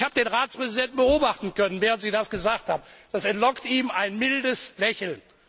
Ich habe den Ratspräsidenten beobachten können, während Sie das gesagt haben Das entlockte ihm ein mildes Lächeln.